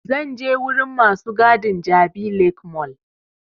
Zan je wurin masu gadin jabi lake mall